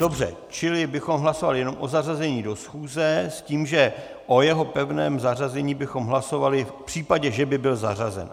Dobře, čili bychom hlasovali jenom o zařazení do schůze s tím, že o jeho pevném zařazení bychom hlasovali v případě, že by byl zařazen.